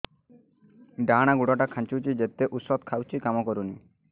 ଡାହାଣ ଗୁଡ଼ ଟା ଖାନ୍ଚୁଚି ଯେତେ ଉଷ୍ଧ ଖାଉଛି କାମ କରୁନି